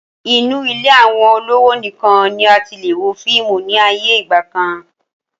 Inu ilé àwọn olówò nìkan ni a tilè wo fíìmù ni ayé ìgbàkan